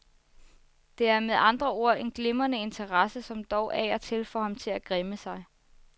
Det er med andre ord en glimrende interesse, som dog af og til får ham til at græmme sig.